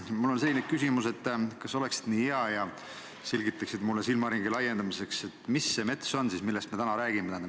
Mul on selline küsimus: kas sa oleksid nii hea ja selgitaksid mulle silmaringi laiendamiseks, mis see mets on, millest me täna räägime?